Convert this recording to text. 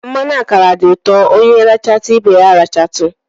Mmanụ ákàrà dị ụtọ, ónyé ratu ibé ya ratu.